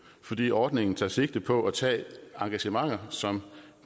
fordi ordningen tager sigte på at tage engagementer som